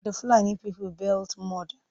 The Fulani people built mud.